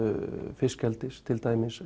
fiskeldis til dæmis